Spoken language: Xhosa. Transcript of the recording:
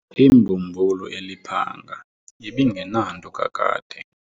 Imbumbulu eliphanga ibingenanto kakade.